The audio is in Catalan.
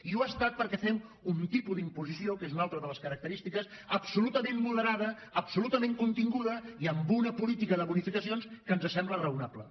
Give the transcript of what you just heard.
i ho ha estat perquè fem un tipus d’imposició que és una altra de les característiques absolutament moderada absolutament continguda i amb una política de bonificacions que ens sembla raonable